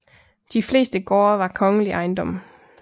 De fleste gårde var kongelig ejendom